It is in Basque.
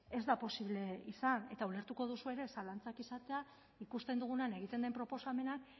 ez da posible izan eta ulertuko duzue ere zalantzak izatea ikusten dugunean egiten den proposamenak